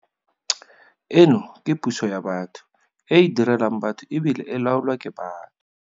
Eno ke puso ya batho, e e direlang batho e bile e laolwa ke batho.